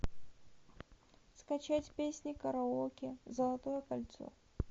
скачать песни караоке золотое кольцо